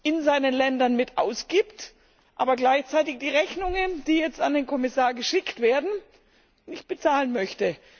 in seinen Ländern mit ausgibt, aber gleichzeitig die Rechnungen, die jetzt an den Kommissar geschickt werden, nicht bezahlen möchte.